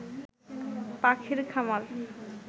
পাখির খামার